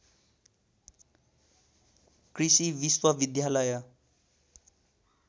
कृषि विश्वविद्यालय